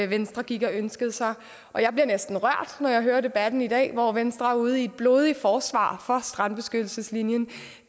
venstre gik og ønskede sig og jeg bliver næsten rørt når jeg hører debatten i dag hvor venstre er ude i et blodigt forsvar for strandbeskyttelseslinjen